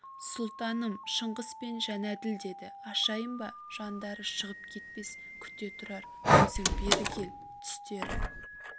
сұлтаным шыңғыс пен жәнәділ деді ашайын ба жандары шығып кетпес күте тұрар өзің бері кел түстері